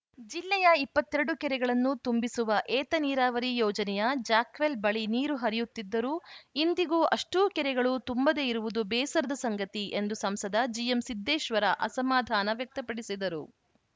ಜಿಲ್ಲೆಯ ಇಪ್ಪತ್ತ್ ಎರಡು ಕೆರೆಗಳನ್ನು ತುಂಬಿಸುವ ಏತ ನೀರಾವರಿ ಯೋಜನೆಯ ಜಾಕ್‌ವೆಲ್‌ ಬಳಿ ನೀರು ಹರಿಯುತ್ತಿದ್ದರೂ ಇಂದಿಗೂ ಅಷ್ಟೂಕೆರೆಗಳು ತುಂಬದೇ ಇರುವುದು ಬೇಸರದ ಸಂಗತಿ ಎಂದು ಸಂಸದ ಜಿಎಂಸಿದ್ದೇಶ್ವರ ಅಸಮಾಧಾನ ವ್ಯಕ್ತಪಡಿಸಿದರು